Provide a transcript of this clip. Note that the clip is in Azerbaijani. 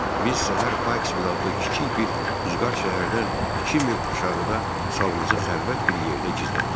Biz səhər Parks Vil adlı kiçik bir uzaq şəhərdən iki mil aşağıda salımızı xəlvət bir yerdə gizlətdik.